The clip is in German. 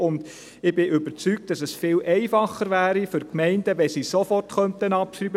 Ich bin überzeugt, dass es für die Gemeinden viel einfacher wäre, wenn sie sofort abschreiben könnten.